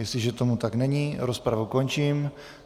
Jestliže tomu tak není, rozpravu končím.